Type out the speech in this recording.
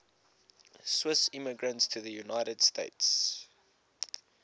swiss immigrants to the united states